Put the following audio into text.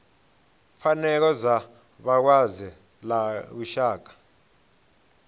pfanelo dza vhalwadze ḽa lushaka